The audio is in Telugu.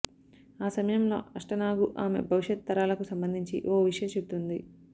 ఆ సమయంలో అష్టనాగు ఆమె భవిష్యత్ తరాలకు సంబంధించి ఓ విషయం చెబుతుంది